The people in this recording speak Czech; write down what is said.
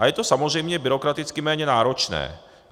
A je to samozřejmě byrokraticky méně náročné.